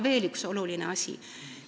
Veel üks oluline asi.